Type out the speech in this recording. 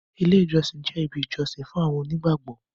ilé ìjósìn jẹ ibì ìjósìn fún àwọn onígbàgbọ